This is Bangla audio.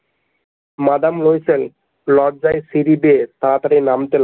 মাদাম লয়সেল লজ্জায় সিঁড়ি বেয়ে তাড়াতাড়ি নামতে।